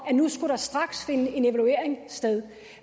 at nu skulle der straks finde en evaluering sted